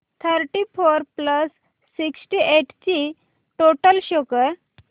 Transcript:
thirty four plus sixty eight ची total show कर